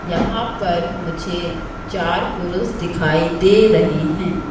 यहां पर मुझे चार पुरुष दिखाई दे रहे हैं।